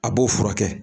A b'o furakɛ